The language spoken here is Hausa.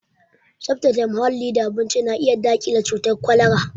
Tsaftace muhalli da abinci na iya daƙile cutar kwalara